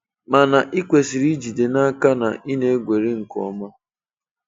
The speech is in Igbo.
Mana ị kwesịrị ijide n'aka na ị na-egweri nke ọma.